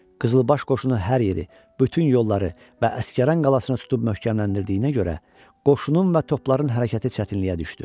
Qızılbaş qoşunu hər yeri, bütün yolları və Əsgəran qalasını tutub möhkəmləndirdiyinə görə, qoşunun və topların hərəkəti çətinliyə düşdü.